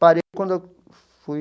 Parei quando eu fui...